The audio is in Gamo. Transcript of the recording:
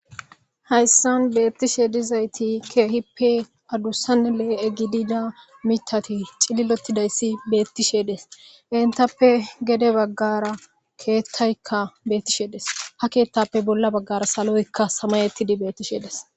Hayssan beettishe dizayti keehippe adussan lee7e gidida mitati cililotidayssi beettishedes entappe gede baggara keettaykka beettisheedes ha keettappe bolla baggara saloykka samayettidi bettishedes